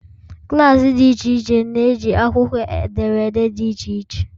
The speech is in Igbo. klaasị dị iche iche na-eji akwụkwọ ederede dị iche iche.